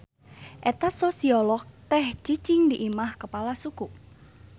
Eta Sosiolog teh cicing di imah kepala suku.